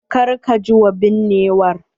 Kar ka ji wa binnewar.